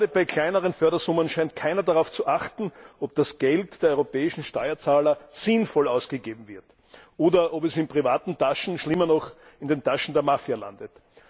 Gerade bei kleineren Fördersummen scheint keiner darauf zu achten, ob das Geld der europäischen Steuerzahler sinnvoll ausgegeben wird, oder ob es in privaten Taschen, schlimmer noch in den Taschen der Mafia, landet.